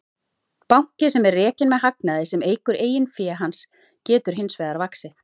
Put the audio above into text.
Banki sem er rekinn með hagnaði sem eykur eigin fé hans getur hins vegar vaxið.